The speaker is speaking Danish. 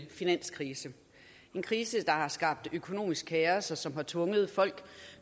finanskrise en krise der har skabt økonomisk kaos og som har tvunget folk